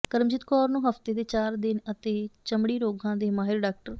ਕਰਮਜੀਤ ਕੌਰ ਨੰੂ ਹਫਤੇ ਦੇ ਚਾਰ ਦਿਨ ਅਤੇ ਚਮੜੀ ਰੋਗਾਂ ਦੇ ਮਾਹਿਰ ਡਾ